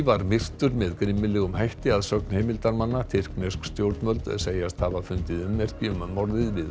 var myrtur með grimmilegum hætti að sögn heimildarmanna tyrknesk stjórnvöld segjast hafa fundið ummerki um morðið við